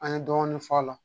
An ye dɔɔnin fɔ a la